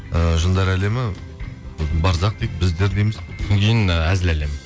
ыыы жындар әлемі сосын барзақ дейді біздер дейміз содан кейін і әзіл әлемі